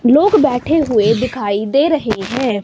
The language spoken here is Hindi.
लोग बैठे हुए दिखाई दे रहे हैं।